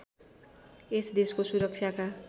यस देशको सुरक्षाका